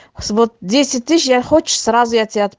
я хочешь сразу